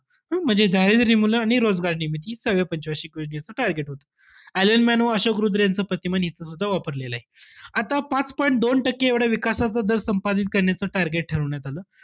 हम्म म्हणजे दारिद्र्य निर्मूलन आणि रोजगार निर्मिती हे सहाव्या पंच वार्षिक योजनेचं target होतं. ऍलन मन व अशोक रुद्र यांचं प्रतिमान हिथं सुद्धा वापरलेलंय. आता पाच point दोन टक्के एवढा विकासाचा दर संपादित करण्याचं target ठरवण्यात आलं.